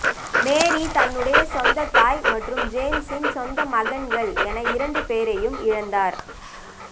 மேரி தன்னுடைய சொந்த தாய் மற்றும் ஜேம்ஸின் சொந்த மகன்கள் என இரண்டு பேரையும் இழந்தார்